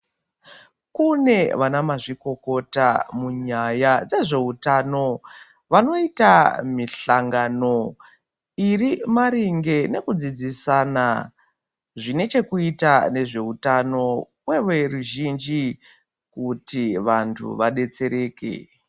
Kune vanamazvikokota munyaya dzezveutano vanoita mihlangano iri maringe nekudzidzisana zvinechekuita nezveutano kweve ruzhinji kuti vantu vadetsereke.